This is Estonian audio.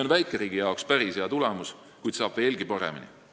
Väikeriigi jaoks on see päris hea tulemus, kuid saab veelgi paremini.